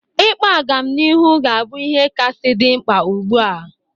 Ịkpa agamnihu ga-abụ ihe kasị dị mkpa ugbu a.